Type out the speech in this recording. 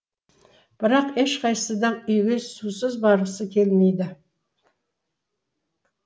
бірақ ешқайсы да үйге сусыз барғысы келмейді